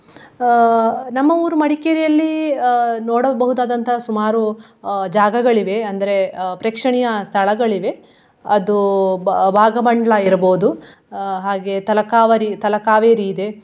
ಅಹ್ ನಮ್ಮ ಊರು ಮಡಿಕೇರಿಯಲ್ಲಿ ಅಹ್ ನೋಡಬಹುದಾದಂತಹ ಸುಮಾರು ಅಹ್ ಜಾಗಗಳಿವೆ ಅಂದ್ರೆ ಅಹ್ ಪ್ರೇಕ್ಷಣೀಯ ಸ್ಥಳಗಳಿವೆ. ಅದು ಭಾ~ ಭಾಗಮಂಡ್ಲಾ ಇರ್ಬಹುದು ಅಹ್ ಹಾಗೆ ತಲಕಾವರಿ~ ತಲಕಾವೇರಿ ಇದೆ.